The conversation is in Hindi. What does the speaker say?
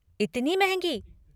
इतनी महंगी।